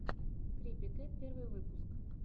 крипи кэт первый выпуск